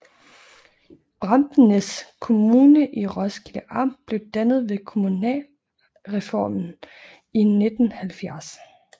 Bramsnæs Kommune i Roskilde Amt blev dannet ved kommunalreformen i 1970